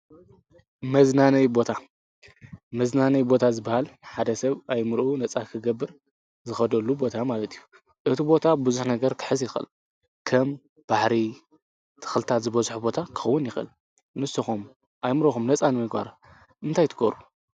መዝናነዬ ቦታ፡- መዝናነዬ ቦታ ዝባሃል ሓደ ሰብ ኣእይምርኡ ነፃ ኽገብር ዝኸደሉ ቦታ ማለት እዩ፡፡ እቲ ቦታ ብዙሕ ነገር ክሕዝ ይኸአል፡፡ ከም ባሕሪ፣ ተኽልታት ዝበዙሖ ቦታ ክኸውን ይኽእል፡፡ ንስኹም ኣእይምሮእኹም ነፃ ንምግባር እንታይ ትገብሩ?